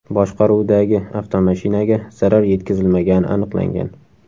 boshqaruvidagi avtomashinaga zarar yetkazilmagani aniqlangan.